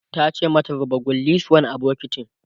tace mata "zuba kullisuwar a bukitin!"